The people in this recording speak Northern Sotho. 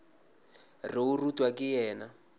re o rutwa ke yena